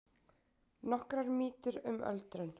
Nokkrar mýtur um öldrun